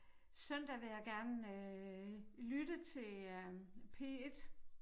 Søndag vil jeg gerne øh lytte til øh P1